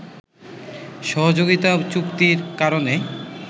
সহযোগিতাচুক্তির কারণে